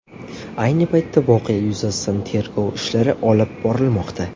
Ayni paytda voqea yuzasidan tergov ishlari olib borilmoqda.